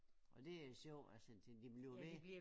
Og det er sjovt altså de bliver ved